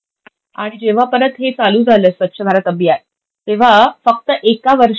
आणि जेव्हा परत हे चालू झालं स्वच्छ भारत अभियान, तेव्हा फक्त एक वर्षात